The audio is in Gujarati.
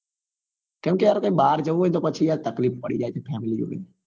કેમ કે યાર ક્યાય બાર જવું હોય ને તો પછી યાર તકલીફ પડી જાય છે family ને